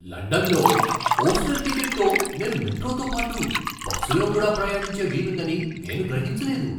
లండన్లో ఓస్టెర్ టికెట్తో నేను మెట్రోతో పాటు బస్సులో కూడా ప్రయాణించే వీలుందని నేను గ్రహించలేదు.